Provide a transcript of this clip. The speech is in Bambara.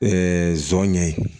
nson ɲɛ ye